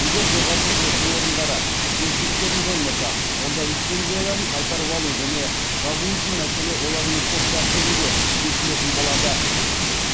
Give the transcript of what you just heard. егер жоғарғы оқу орындары кемшіліктерін жоймаса онда лицензияларын қайтарып алу және жабу үшін мәселе олармен сот тәртібінде шешілетін болады